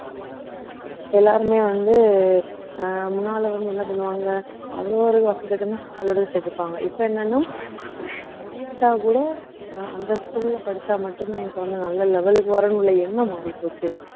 இப்போ எல்லாருமே வந்து அஹ் முன்னாலே வந்து என்ன பண்ணுவாங்க அவ்ளோ ஒரு பள்ளிக்கூடம் சேர்த்திருப்பாங்க இப்ப என்னன்னா அஹ் முடியாட்டா கூட அஹ் அந்த school ல படிச்சா மட்டும்தான் என் குழந்தை நல்ல level க்கு வரும்னு எண்ணம் மாறிப்போச்சு